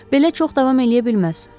Belə çox davam eləyə bilməz.